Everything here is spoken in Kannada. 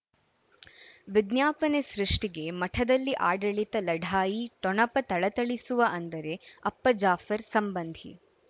ವಿಜ್ಞಾಪನೆ ಸೃಷ್ಟಿಗೆ ಮಠದಲ್ಲಿ ಆಡಳಿತ ಲಢಾಯಿ ಠೊಣಪ ಥಳಥಳಿಸುವ ಅಂದರೆ ಅಪ್ಪ ಜಾಫರ್ ಸಂಬಂಧಿ